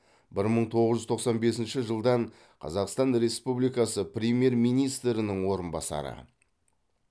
бір мың тоғыз жүз тоқсан бесінші жылдан қазақстан республикасы премьер министрінің орынбасары